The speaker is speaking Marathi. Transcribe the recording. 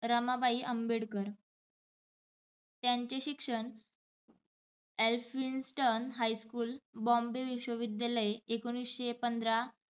रमाबाई आंबेडकर. त्यांचे शिक्षण एलफिन्सटन हायस्कुल, बॉम्बे विश्व विद्यालय एकोणिसशे पंधरा